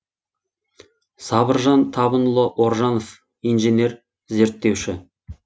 сабыржан табынұлы оржанов инженер зерттеуші